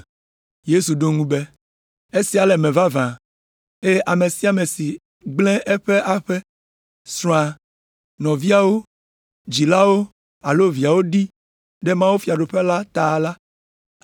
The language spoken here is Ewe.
Yesu ɖo eŋu be, “Esia le eme vavã, eye ame sia ame si gblẽ eƒe aƒe, srɔ̃a, nɔviawo, dzilawo alo viawo ɖi ɖe mawufiaɖuƒea ta la,